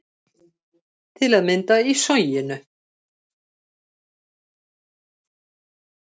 Til að mynda í Soginu